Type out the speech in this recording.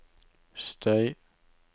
støy